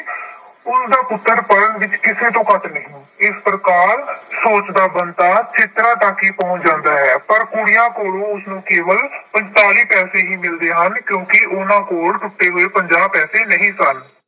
ਉਸਦਾ ਪੁੱਤਰ ਪੜ੍ਹਨ ਵਿੱਚ ਕਿਸੇ ਤੋਂ ਘੱਟ ਨਹੀਂ ਇਸ ਪ੍ਰਕਾਰ ਸੋਚਦਾ ਬੰਤਾ ਚਿਤਰਾ ਟਾਕੀ ਪਹੁੰਚ ਜਾਂਦਾ ਹੈ, ਪਰ ਕੁੜੀਆਂ ਕੋਲ ਉਸਨੂੰ ਕੇਵਲ ਪੰਤਾਲੀ ਪੈਸੇ ਹੀ ਮਿਲਦੇ ਹਨ ਕਿਉਂਕਿ ਉਹਨਾਂ ਕੋਲ ਟੁੱਟੇ ਹੋਏ ਪੰਜਾਹ ਪੈਸੇ ਨਹੀਂ ਸਨ।